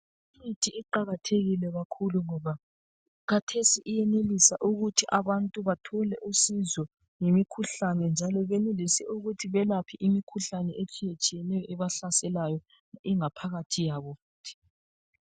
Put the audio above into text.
Imithi iqakathekile kakhulu ngoba khathesi iyenelisa ukuthi abantu bathole usizo ngemikhuhlane. Njalo benelise ukuthi belaphe imikhuhlane etshiyetshiyeneyo ebahlasela ingaphakathi yabo.